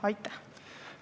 Aitäh!